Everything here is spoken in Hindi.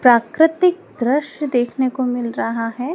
प्राकृतिक दृश्य देखने को मिल रहा है।